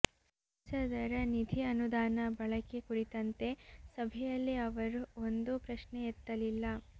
ಸಂಸದರ ನಿಧಿ ಅನುದಾನ ಬಳಕೆ ಕುರಿತಂತೆ ಸಭೆಯಲ್ಲಿ ಅವರು ಒಂದೂ ಪ್ರಶ್ನೆ ಎತ್ತಲಿಲ್ಲ